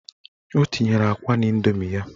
O tinyere akwa n'indomi ya.